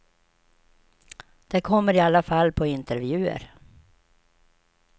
De kommer i alla fall på intervjuer.